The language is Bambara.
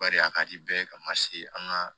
Bari a ka di bɛɛ ye ka ma se an ka